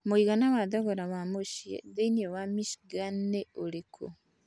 mũigana wa thogora wa mũciĩ thĩinĩ wa Michigan nĩ ũrĩkũ